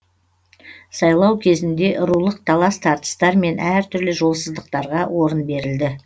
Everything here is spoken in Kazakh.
сайлау кезінде рулық талас тартыстар мен әртүрлі жолсыздықтарға орын берілді